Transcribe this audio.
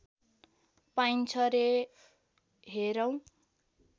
पाइन्छ रे हेरौँ